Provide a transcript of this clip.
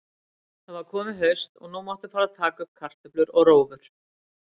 Það var komið haust og nú mátti fara að taka upp kartöflur og rófur.